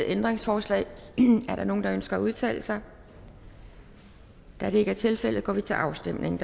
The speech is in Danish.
ændringsforslag er der nogen der ønsker at udtale sig da det ikke er tilfældet går vi til afstemning